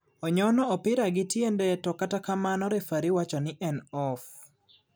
Onyono opira gi tiende to kata kamano refari wacho ni en off.